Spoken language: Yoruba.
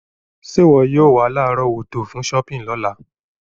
Sé wọ yio wa lárọ̀wọ́tó fun shopping lọ́la